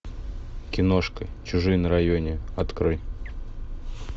киношка чужие на районе открой